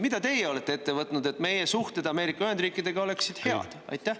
Mida teie olete ette võtnud, et meie suhted Ameerika Ühendriikidega oleksid head?